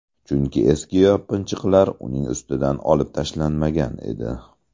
Chunki eski yopinchiqlar uning ustidan olib tashlanmagan edi.